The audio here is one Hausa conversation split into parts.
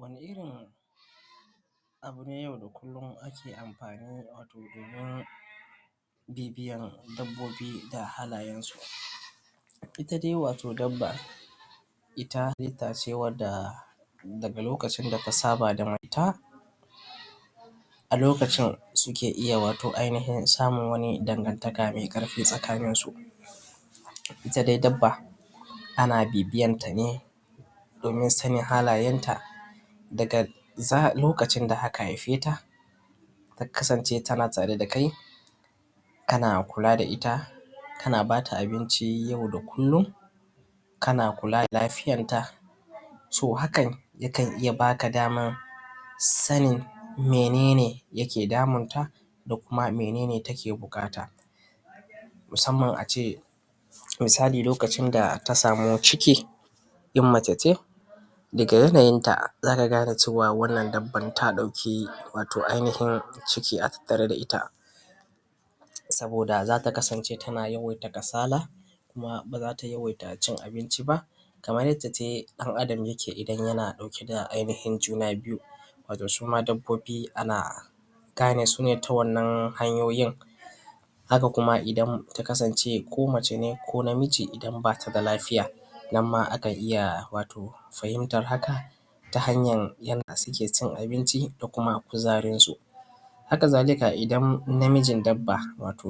wani irin abu ne yau da kulluma ake amfani dashi wato domin bibiyan dabbobi da halayen su ta dai wato dabba ita halitta ce wanda daga lokacin da ta saba da mutum a lokacin wato suke iya samun ainihin dangantaka mai ƙarfi a tsakanin su ita dai dabba ana bi biyan ta ne domin sanin halayen ta daga lokacin da aka haife ta ta kasance tana tare da kai kana kula da ita kana bata abinci yau da kullum kana kula da lafiyan ta so hakan yakan iya baka daman sanin mene ne yake damunta da kuma mene ne take buƙata musamman ace misali lokacin da ta samu ta ciki in mace ce daga yanayin ta zaka gane cewa wannan dabban wato ta ɗauki wato ainihin ciki a tattare da ita saboda zata kasance tana yawaita kasala kuma ba zata yawaita cin abinci ba kamar yace dai ɗan adam yake in yana ɗauke da ainihin juna biyu wato suma dabbobi ana gane su ne ta wannan hanyoyin haka kuma idan ta kasance ko mace ne ko namiji idan batada lafiya nan ma wato akan iya fahimtar hakan ta hanyar yanda suke cin abinci ko kuma kuzarin su haka zalika idan namijin dabba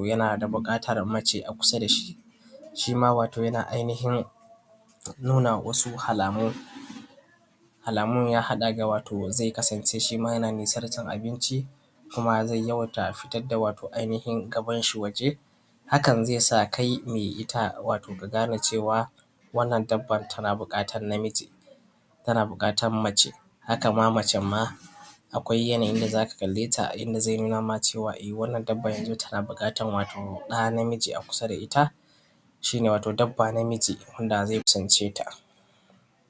yana da buƙatar mace a kusa dashi shima wato yana ainihin nuna wasu alamu alamun ya haɗa da wato zai kasance shima yana nisantar abinci kuma yana yawaita fitar da wato ainihin gaban shi waje hakan zai sa kai mai ita ka gane cewa wannan dabban tana buƙatar namiji tana buƙatar mace hakan ma macen ma akwai yanayin da zaka kalle ta inda zai nuna ma cewa wannan dabban yanzun tana buƙatar wato ɗa namiji a kusa da ita shine wato dabba namiji da zai kusance ta